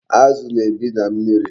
Azu na-ebi na mmiri